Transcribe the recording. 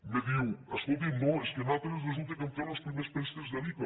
em diu escolti’m no és que nosaltres resulta que hem fet los primers prés tecs de l’ica